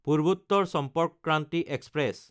Purbottar Sampark Kranti express